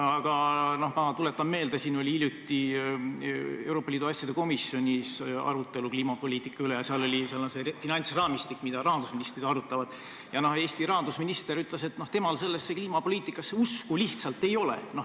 Aga ma tuletan meelde, et hiljuti oli Euroopa Liidu asjade komisjonis arutelu kliimapoliitika üle – kõneks oli ka finantsraamistik, mida rahandusministrid arutavad – ja Eesti rahandusminister ütles, et temal kliimapoliitikasse usku ei ole.